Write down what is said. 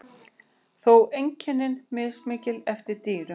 Þó eru einkenni mismikil eftir dýrum.